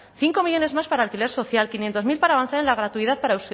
cinco millónes más para alquiler social quinientos mil para avanzar en la gratuidad para